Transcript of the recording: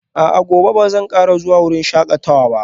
A'a, gobe ba zan kara zuwa wurin shakatawa ba